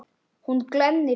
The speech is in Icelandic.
Hún glennir sig.